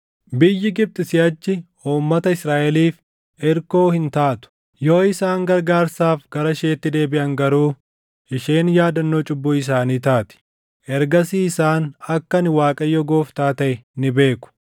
Biyyi Gibxi siʼachi uummata Israaʼeliif irkoo hin taatu; yoo isaan gargaarsaaf gara isheetti deebiʼan garuu isheen yaadannoo cubbuu isaanii taati. Ergasii isaan akka ani Waaqayyo Gooftaa taʼe ni beeku.’ ”